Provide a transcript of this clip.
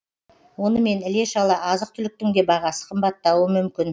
онымен іле шала азық түліктің де бағасы қымбаттауы мүмкін